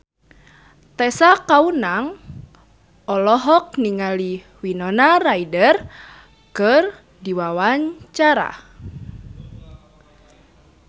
Tessa Kaunang olohok ningali Winona Ryder keur diwawancara